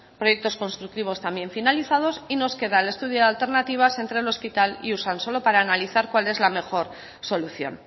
proyectos constructivos también finalizados y nos queda el estudio de alternativas entre el hospital y usansolo para analizar cuál es la mejor solución